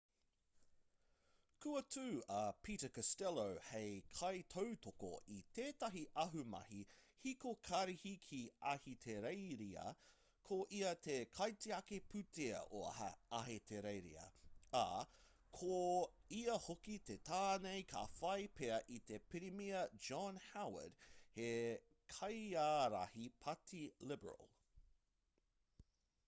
kua tū a peter costello hei kaitautoko i tētahi ahumahi hiko karihi ki ahitereiria ko ia te kaitiaki pūtea o ahitereiria ā ko ia hoki te tāne ka whai pea i a pirimia john howard hei kaiārahi pāti liberal